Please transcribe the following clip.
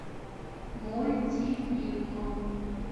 мультифильм